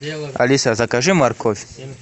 алиса закажи морковь